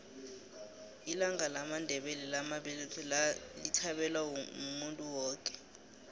ilanga lamandela lamabeletho lithabelwa muntu woke